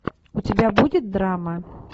у тебя будет драма